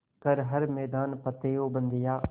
कर हर मैदान फ़तेह ओ बंदेया